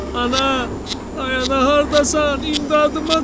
Ana, ay ana hardasan, imdadıma çat!